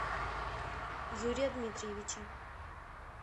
юрия дмитриевича